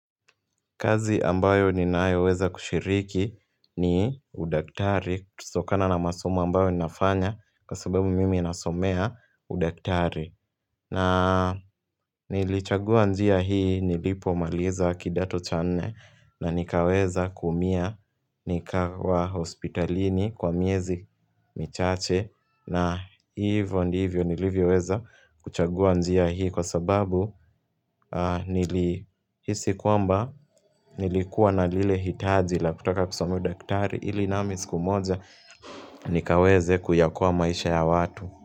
Kazi ambayo ninayoweza kushiriki ni udaktari, tusokana na masomo ambayo ninafanya kwa sababu mimi nasomea udaktari na nilichagua njia hii nilipo maliza kidato cha nne na nikaweza kuumia nikawa hospitalini kwa miezi michache na hivo ndivyo nilivyo weza kuchagua njia hii kwa sababu nili hisi kwamba nilikuwa na lile hitaji la kutaka kusoma udaktari ili nami siku moja nikaweze kuyaokoa maisha ya watu.